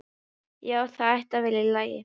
Já, það ætti að vera í lagi.